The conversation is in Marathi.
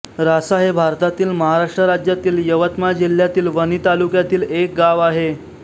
रासा हे भारतातील महाराष्ट्र राज्यातील यवतमाळ जिल्ह्यातील वणी तालुक्यातील एक गाव आहे